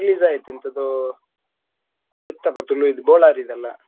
Release ಆಯ್ತು ಎಂತದೊ ಒಂದು ಇತ್ತಪ್ಪ ತುಳುಯಿದು ಬೋಳಾರಿದೆಲ್ಲ.